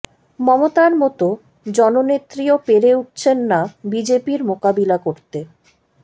মমতার মতো জননেত্রীও পেরে উঠছেন না বিজেপির মোকাবিলা করতে